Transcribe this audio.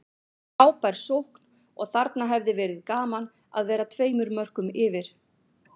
Frábær sókn og þarna hefði verið gaman að vera tveimur mörkum yfir.